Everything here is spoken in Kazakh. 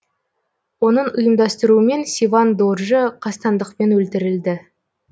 оның ұйымдастыруымен севан доржы қастандықпен өлтірілді